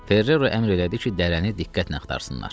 Ferrero əmr elədi ki, dərəni diqqətlə axtarsınlar.